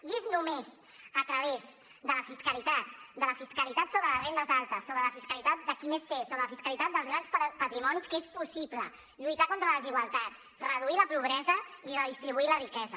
i és només a través de la fiscalitat de la fiscalitat sobre les rendes altes sobre la fiscalitat de qui més té sobre la fiscalitat dels grans patrimonis que és possible lluitar contra la desigualtat reduir la pobresa i redistribuir la riquesa